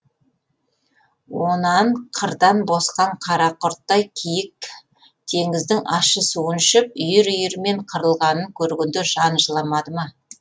онан қырдан босқан қара құрттай киік теңіздің ащы суын ішіп үйір үйірімен қырылғанын көргенде қан жыламады ма